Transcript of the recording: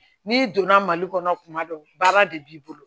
N'i donna mali kɔnɔ tuma dɔw baara de b'i bolo